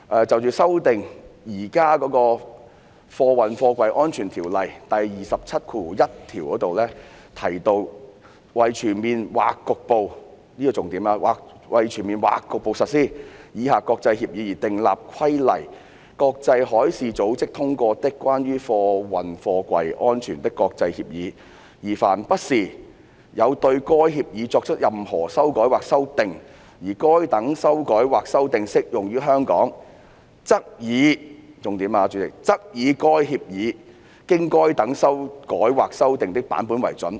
就着修訂現行《運貨貨櫃條例》第271條，第10條寫道："為全面或局部"——這是重點——"為全面或局部實施以下國際協議而訂立規例：國際海事組織通過的、關於運貨貨櫃安全的國際協議，而凡不時有對該協議作出任何修改或修訂，而該等修改或修訂適用於香港，則以"——主席，這是重點——"則以該協議經該等修改或修訂的版本為準。